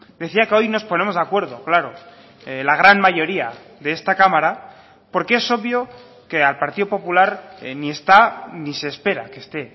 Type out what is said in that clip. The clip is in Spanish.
decía que hoy nos ponemos de acuerdo claro la gran mayoría de esta cámara porque es obvio que al partido popular ni está ni se espera que esté